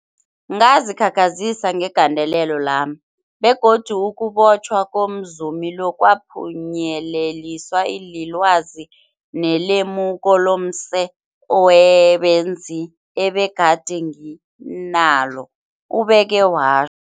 Ngazikhakhazisa ngegalelo lami, begodu ukubotjhwa komzumi lo kwaphunyeleliswa lilwazi nelemuko lomse benzi ebegade nginalo, ubeke wa